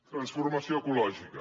transformació ecològica